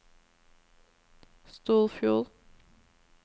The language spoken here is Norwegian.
Storfjord